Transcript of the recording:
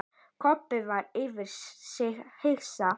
Kobbi var yfir sig hissa.